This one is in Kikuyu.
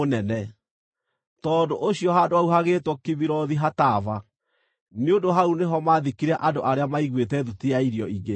Tondũ ũcio handũ hau hagĩĩtwo Kibirothu-Hataava, nĩ ũndũ hau nĩho maathikire andũ arĩa maaiguĩte thuti ya irio ingĩ.